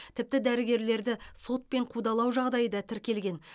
тіпті дәрігерлерді сотпен қудалау жағдайы да тіркелген